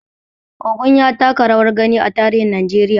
Ogun ya taka rawar gani a tarihin Najeriya.